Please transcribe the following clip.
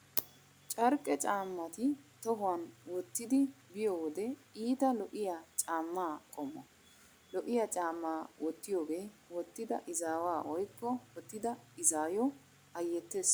Carqqe caammati tohuwan wottidi biyo wode iita lo'iya caamma qommo . Lo'iya caammaa wottiyogee wottida izaawa woykko wottida izaayo ayyettees.